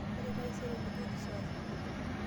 Ore taisere nijoki sore.